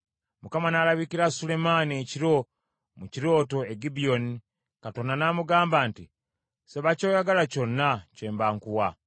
Mukama n’alabikira Sulemaani ekiro mu kirooto e Gibyoni, Katonda n’amugamba nti, “Saba ky’oyagala kyonna kye mba nkuwa.”